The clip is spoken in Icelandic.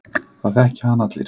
Það þekkja hann allir.